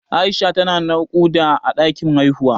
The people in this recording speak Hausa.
Aisha ta na naƙuda a ɗakin haihuwa